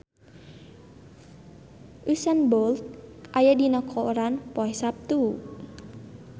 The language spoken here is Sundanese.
Usain Bolt aya dina koran poe Saptu